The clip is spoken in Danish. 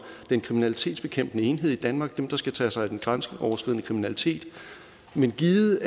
kriminalitetsbekæmpende enhed i danmark dem der skal tage sig af den grænseoverskridende kriminalitet men givet